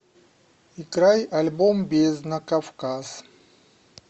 играй альбом бездна кавказ